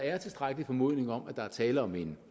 er tilstrækkelig formodning om at der er tale om en